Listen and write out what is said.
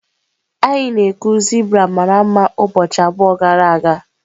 Anyị na-ekwu zebra mara mma ụbọchị abụọ gara aga.